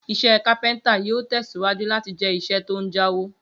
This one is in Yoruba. Iṣẹ́ kápẹ́ntà yóò tẹ̀síwájú láti jẹ́ iṣẹ́ tó ń jáwó